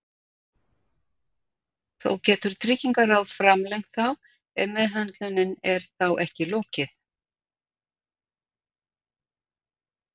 Þó getur Tryggingaráð framlengt þá ef meðhöndlun er þá ekki lokið.